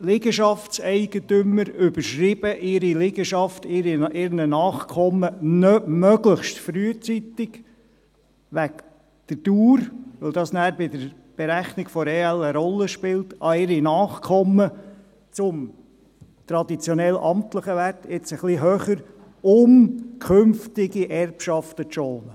Liegenschaftseigentümer überschreiben ihre Liegenschaften möglichst frühzeitig – wegen der Dauer, weil diese bei der Berechnung der EL eine Rolle spielt – an ihre Nachkommen zum traditionell amtlichen Wert, jetzt etwas höher, um künftige Erbschaften zu schonen.